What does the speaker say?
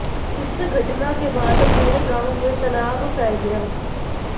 इस घटना के बाद पूरे गांव में तनाव फैल गया